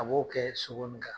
A b'o kɛ sogo nin kan.